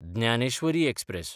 Dnyaneshwari express